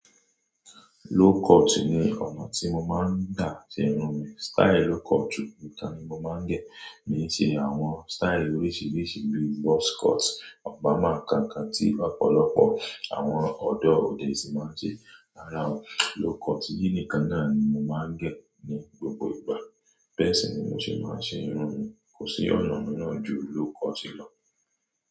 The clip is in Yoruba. Low cut ni ọ̀nà tí mo máa ń dà tí irun mi. Style low cut nìkan ni mo máa ń gẹ̀. Ní sì àwọn style oríṣiríṣi bíi box cut, Obama, kankan tí ọ̀pọ̀lọpọ̀ àwọn ọ̀dọ́ òde isìn máa ń ṣe. Rárá o, low cut yìí nìkan náà ni mo máa ń gẹ̀ ní gbogbo ìgbà. Bẹ́si ni mo sì máa ń ṣe irun mi. Kò sí ọ̀nà míràn ju low cut lọ.